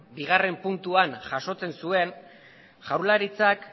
bigarren puntuan jasotzen zuen jaurlaritzak